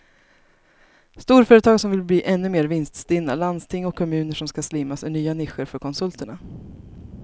Storföretag som vill bli ännu mer vinststinna, landsting och kommuner som ska slimmas är nya nischer för konsulterna.